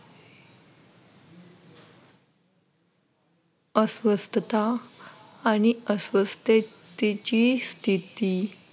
अस्वस्थता आणि अस्वस्थतेची स्थिती,